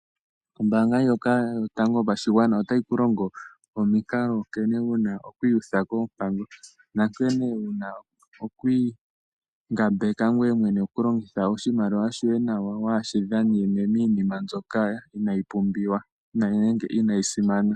Ombaanga yotango yopashigwana otayi ku longo omikalo nkene wuna oku iyutha koompango . Nankene wuna oku ingambeka ngoye mwene koku longitha oshimaliwa shoye nawa waashi dhanene miinima mbyoka inaayi simana.